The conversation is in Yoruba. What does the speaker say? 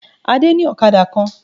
Adé ní òkadà kan